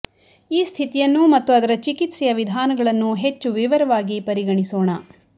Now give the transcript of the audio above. ಈ ಸ್ಥಿತಿಯನ್ನು ಮತ್ತು ಅದರ ಚಿಕಿತ್ಸೆಯ ವಿಧಾನಗಳನ್ನು ಹೆಚ್ಚು ವಿವರವಾಗಿ ಪರಿಗಣಿಸೋಣ